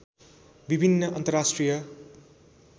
विभिन्न अन्तर्राष्ट्रिय